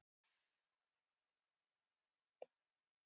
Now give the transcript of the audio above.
Hún lagði blaðið á hilluna og lofaði að tala ekki meira um James